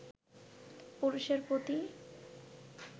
পুরুষের প্রতি